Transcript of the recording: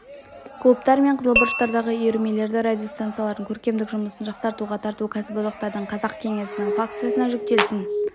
клубтар мен қызыл бұрыштардағы үйірмелерді радиостанцияның көркемдік жұмысын жақсартуға тарту кәсіподақтардың қазақ кеңесінің факциясына жүктелсін